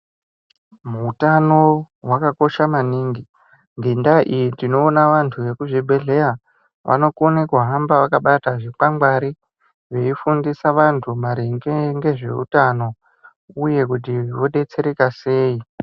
Hutano hwakakosha maningi. Ngendaa iyi tinoona vantu vekuzvibhehleya vanokone kuhamba vakabata zvikwangwari veifundisa vantu maringe ngezveutno uye kuti vodetsereka sei.